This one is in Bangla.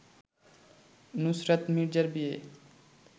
নুসরাত মির্জার বিয়ে